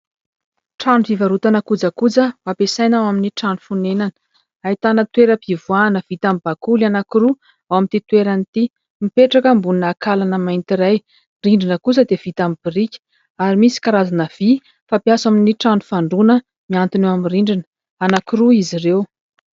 Trano fivarotana kojakoja ho ampiasaina amin'ny trano fonenana. Ahitana toeram-pivoahana vita amin'ny bakoly anankiroa ao amin'ity toerana ity, mipetraka ambonina ankalana anankiray. Ny rindrina kosa dia vita amin'ny biriky ary misy karazana vy fampiasa amin'ny trano fandroana miantona eo amin'ny rindrina. Anankiroa izy ireo.